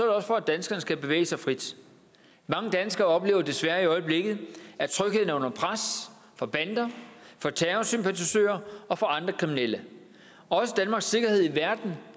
også for at danskerne skal kunne bevæge sig frit mange danskere oplever desværre i øjeblikket at trygheden er under pres fra bander fra terrorsympatisører og fra andre kriminelle også danmarks sikkerhed i verden